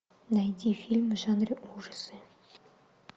найди фильм в жанре ужасы